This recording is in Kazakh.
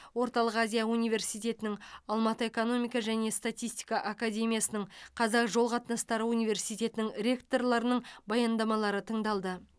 орталық азия университетінің алматы экономика және статистика академиясының қазақ жол қатынастары университетінің ректорларының баяндамалары тыңдалды